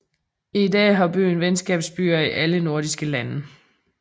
I dag har byen venskabsbyer i alle nordiske lande